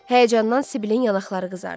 Həyəcandan Sibilin yanaqları qızardı.